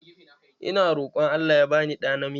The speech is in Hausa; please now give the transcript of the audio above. Ina roƙon Allah ya bani ɗa namiji.